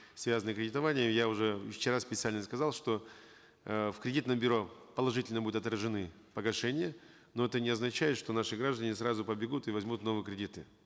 связанные кредитования я уже вчера специально сказал что э в кредитном бюро положительно будут отражены погашения но это не означает что наши граждане сразу побегут и возьмут новые кредиты